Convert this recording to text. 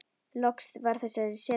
Loks var þessari setu lokið.